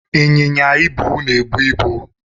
Ịnyịnya ibu na-ebu ibu.